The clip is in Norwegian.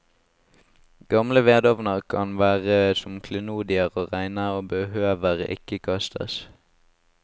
Gamle vedovner kan være som klenodier å regne og behøver ikke kastes.